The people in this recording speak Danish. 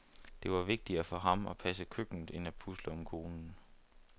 Det var vigtigere for ham at passe køkkenet end at pusle om konen.